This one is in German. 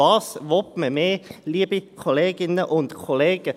Was will man mehr, liebe Kolleginnen und Kollegen?